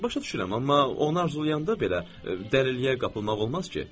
Başa düşürəm, amma onu arzulayanda belə dəliliyə qapılmaq olmaz ki?